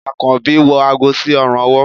akanbi wọ àgó sí òrùn ọwọ